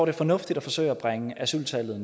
er fornuftigt at forsøge at bringe asyltallet